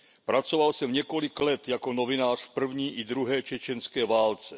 Pracoval jsem několik let jako novinář v první i druhé čečenské válce.